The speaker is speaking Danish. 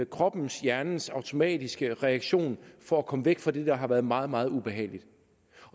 kroppens hjernens automatiske reaktion for at komme væk fra det der har været meget meget ubehageligt